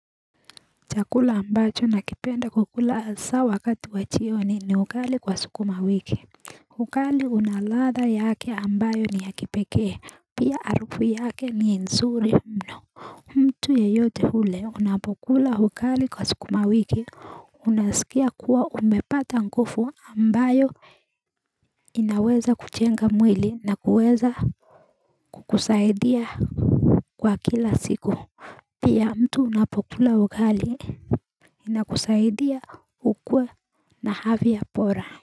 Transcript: Chakula ambacho nakipenda kukula haswa wakati wa jioni ni ugali kwa sukuma wiki ugalii una ladha yake ambayo ni ya kipekee pia arufu yake ni nzuri mno mtu yeyote ule unapokula ugonjwa ali kwa sukuma wiki Unasikia kuwa umepata nguvu ambayo inaweza kuchenga mwili na kuweza kukusaidia kwa kila siku Pia mtu unapokula hukali na kusaidia ukwe na javi ya pora.